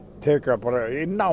tek það bara inn á